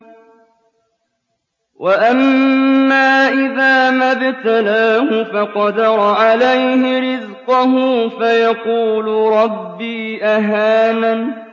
وَأَمَّا إِذَا مَا ابْتَلَاهُ فَقَدَرَ عَلَيْهِ رِزْقَهُ فَيَقُولُ رَبِّي أَهَانَنِ